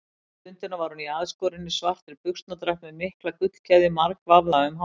Þessa stundina var hún í aðskorinni, svartri buxnadragt með mikla gullkeðju margvafða um hálsinn.